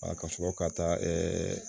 ka sɔrɔ ka taa ɛɛ